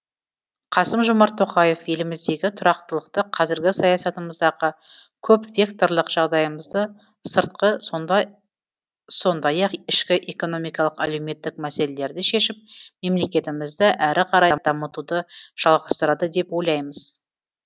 қасым жомарт тоқаев еліміздегі тұрақтылықты қазіргі саясатымыздағы көпвекторлық жағдайымызды сыртқы сондай ақ ішкі экономикалық әлеуметтік мәселелерді шешіп мемлекетімізді әрі қарай дамытуды жалғастырады деп ойлаймыз